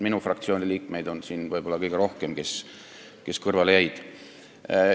Minu fraktsiooni liikmeid, kes kõrvale jäid, on siin võib-olla kõige rohkem.